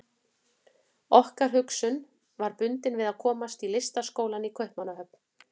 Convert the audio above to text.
Okkar hugsun var bundin við að komast í Listaskólann í Kaupmannahöfn.